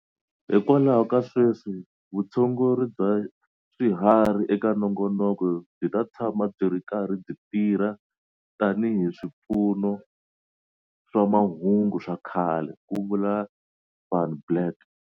Hikwalaho ka sweswi, vutshunguri bva swiharhi eka nongonoko byi ta tshama byi ri karhi byi tirha tanihi swipfuno swa mahungu swa kahle, ku vula Van Blerk.